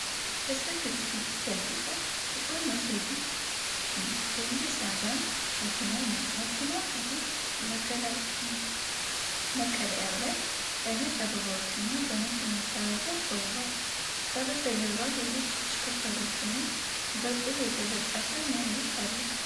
ለሠርግ ዝግጅት ያጌጠ ጥቁር መርሴዲስ ቤንዝ ሰዳን መኪና ነው። መኪናው ከፊት መከለያው ላይ በነጭ አበባዎችና በነጭ መጋረጃ ተውቧል። ከበስተጀርባ ሌሎች ተሽከርካሪዎችና በጡብ የተነጠፈ መሬት አለ።